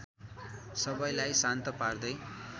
सबैलाई शान्त पार्दै